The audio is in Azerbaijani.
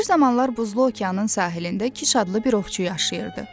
Bir zamanlar buzlu okeanın sahilində Kiş adlı bir ovçu yaşayırdı.